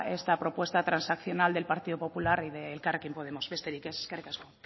esta propuesta transaccional del partido popular y elkarrekin podemos besterik ez eskerrik asko